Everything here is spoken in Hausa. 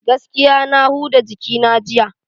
Gaskiya na huda jikina jiya.